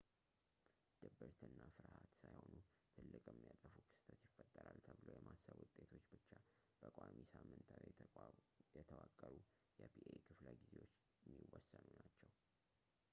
ድብርት እና ፍርሃት ሳይሆኑ ትልቅ የሚያጠፋ ክስተት ይፈጠራል ብሎ የማሰብ ውጤቶች ብቻ በቋሚ ሳምንታዊ የተዋቀሩ የፒኤ ክፍለ ጊዜዎች የሚወሰኑ ናችው